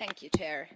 Madam President,